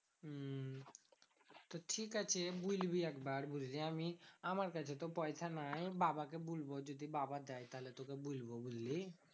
তো ঠিকাছে বলবি একবার বুঝলি? আমি আমার কাছে তো পয়সা নাই। আমি বাবাকে বলবো যদি বাবা দেয়, তাহলে তোকে বলবো বুঝলি?